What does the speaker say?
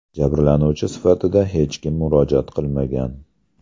Jabrlanuvchi sifatida hech kim murojaat qilmagan.